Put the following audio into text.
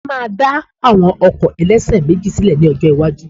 Wọ́n máa dá àwọn ọkọ̀ ẹlẹ́ṣẹ̀méjì sílè ní ọjọ́ iwájú